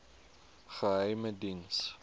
geheimediens